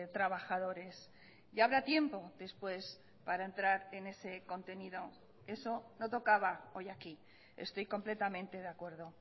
trabajadores ya habrá tiempo después para entrar en ese contenido eso no tocaba hoy aquí estoy completamente de acuerdo